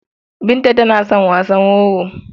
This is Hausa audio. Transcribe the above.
Binta tana son wasan wowo.